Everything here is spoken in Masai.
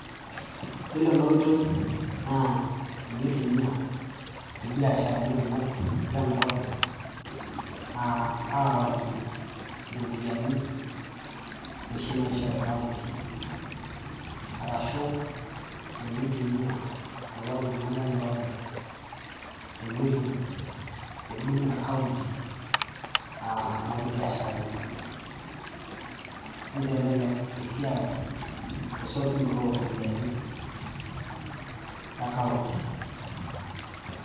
Iyiolo enoitoi na kitumia imbiasharani kumok le nairobi alakie ropiyani oshi naishori county, arashu ninye eitumia kulo tunganak otii nairobi tenetum huduma e county orbiasharani ,nitelelek esiai esutunoto oropiyani e county.